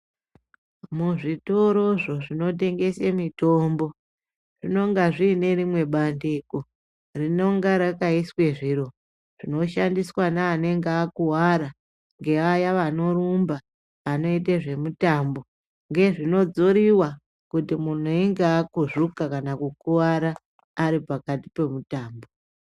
Muzvitorozvo zvinotengese mitombo zvinenge zviine rimwe bandiko rinonga rakaiswe zviro zvinoshandiswa neanenge akuwara ngevaya vanorumba vanoite zvemitambo ngezvinodzoriwa kuti munhu einga akuzvuka kana kukuwara ari pakati pemutambo.